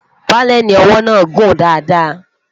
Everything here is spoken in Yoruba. paleni owó nà gùn dá dá